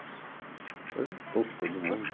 Então juntou todo mundo.